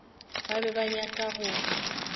ba be ba nyaka go